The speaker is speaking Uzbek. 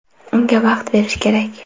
Unga vaqt berish kerak.